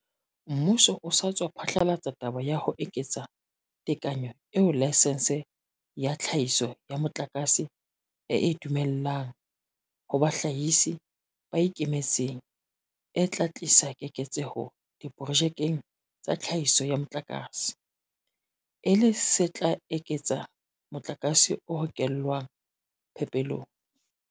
Mmuso o sa tswa phatlalatsa taba ya ho eketsa tekanyetso eo laesense ya tlhahiso ya motlakase e e dumellang ho bahlahisi ba ikemetseng e tla tlisa keketseho diprojekeng tsa tlhahiso ya motlakase, e le se tla eketsa motlakase o hokelwang phepelong.